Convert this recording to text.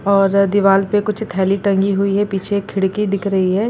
और दीवाल पे कुछ थैली टंगी हुई है पीछे खिड़की दिख रही है।